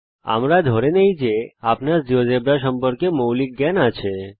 আমরা ধরে নেই যে আপনার জীয়োজেব্রা সম্পর্কে মৌলিক জ্ঞান আছে